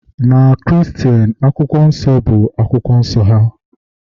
na Kristen, Akwụkwọ Nsọ bụ akwụkwọ nsọ ha